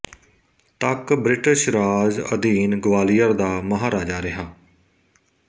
ਤੱਕ ਬ੍ਰਿਟਿਸ਼ ਰਾਜ ਅਧੀਨ ਗਵਾਲੀਅਰ ਦਾ ਮਹਾਰਾਜਾ ਰਿਹਾ